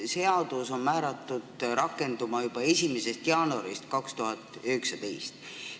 Seadus on määratud rakenduma juba 1. jaanuaril 2019.